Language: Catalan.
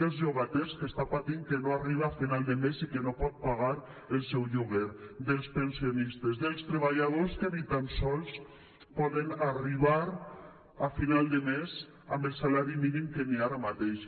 dels llogaters que estan patint que no arriben a final de mes i que no poden pagar el seu lloguer dels pensionistes dels treballadors que ni tan sols poden arribar a final de mes amb el salari mínim que hi ha ara mateix